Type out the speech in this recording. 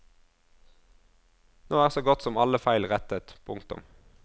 Nå er så godt som alle feil rettet. punktum